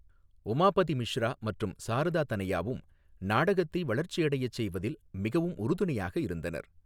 உமாபதி மிஷ்ரா மற்றும் சாரதா தனயாவும் நாடகத்தை வளர்ச்சியடைச் செய்வதில் மிகவும் உறுதுணையாக இருந்தனர்.